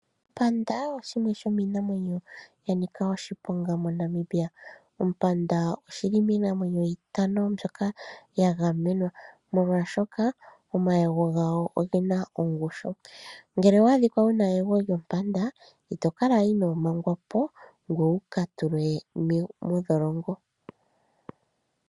Ompanda oshimwe shomiinamwenyo yanika oshiponga moNamibia. Ompanda oshili miinamwenyo itano mbyoka ya gamenwa molwashoka omayego gawo ogena ongushu. Ngele owa adhikwa wuna eyego lyompanda ito kala ino mangwapo ngoye wuka tulwe modholongo.